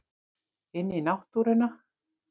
Inn í náttúruna.